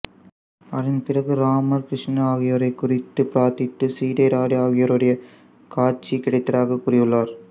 அதன் பிறகு ராமர் கிருஷ்ணர் ஆகியோரைக் குறித்து பிரார்த்தித்து சீதை ராதை ஆகியோருடைய காட்சி கிடைத்ததாகக் கூறியுள்ளார்